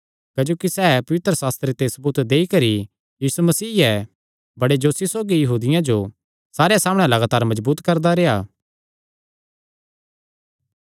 क्जोकि सैह़ पवित्रशास्त्र ते सबूत देईकरी कि यीशु ई मसीह ऐ बड़े जोशे सौगी यहूदियां जो सारेयां सामणै लगातार मजबूत करदा रेह्आ